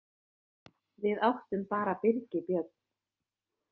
Við áttum bara Birgi Björn.